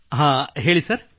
ಹಾಂ ಹೇಳಿ ಸರ್